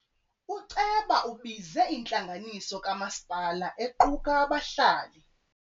Uceba ubize intlanganiso kamasipala equka abahlali.